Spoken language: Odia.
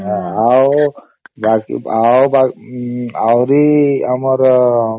ଆଉ ବାକି ଆହୁରି ଆମର